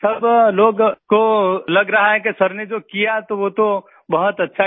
सब लोगों को लग रहा है कि सर ने जो किया तो वो तो बहुत अच्छा किया